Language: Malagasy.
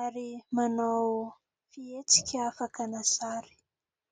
ary manao fietsika fakana sary.